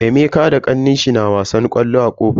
Emeka da kannenshi na wasan ƙwallo a kofar gida.